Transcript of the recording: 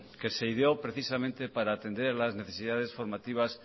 que se ideó precisamente para atender las necesidades formativas